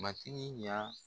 Matigi ɲa